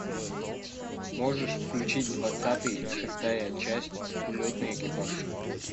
можешь включить двадцатый шестая часть улетный экипаж